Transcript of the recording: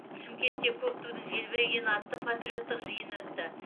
шымкентте көк тудың желбірегені атты патриоттық жиын өтті